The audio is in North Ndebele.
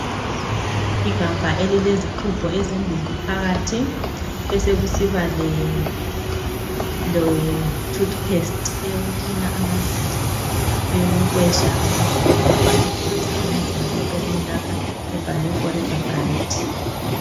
Igabha elilezixhubho ezimbili phakathi besekusiba lethutu pesti eyeko kilina eyekokwesha eyokugezisa amazinyo eceleni lapha ebhalwe forever Bright.